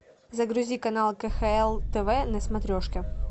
загрузи канал кхл тв на смотрешке